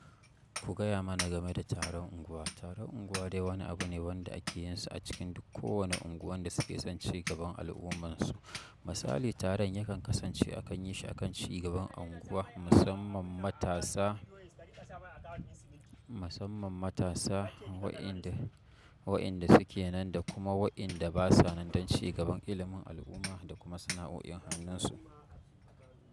Ku gaya mana game da taron unguwa. Taron anguwade wani abune wanda ake yinshi acikin kowani anguwa wanda suke son cin gaba alummansu. Misali, taron yakan kasance akan yi shi akan cigaban unguwa, musamman matasa, musamman matasa, wa'inda, wa'inda suke nan da kuma wa'inda ba sanan dan cigaban ilimin al'umma da kuma sana'o'in hannunsu.